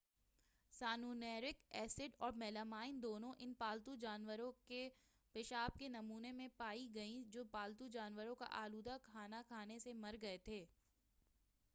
سیانینورک acid اور melamine دونوں ان پالتو جانوروں کے پیشاب کے نمونے میں پائی گئیں جو پالتو جانوروں کا آلودہ کھانا کھانے سے مر گئے تھے